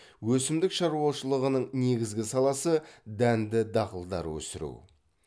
өсімдік шаруашылығының негізгі саласы дәнді дақылдар өсіру